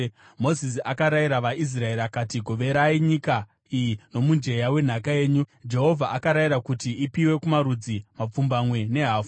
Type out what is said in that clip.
Mozisi akarayira vaIsraeri akati, “Goverai nyika iyi nomujenya wenhaka yenyu. Jehovha akarayira kuti ipiwe kumarudzi mapfumbamwe nehafu,